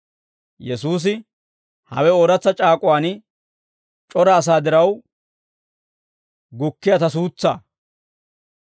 Yesuusi, «Hawe ooratsa c'aak'uwaan c'ora asaa diraw gukkiyaa ta suutsaa.